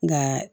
Nka